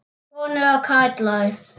Konur og karlar.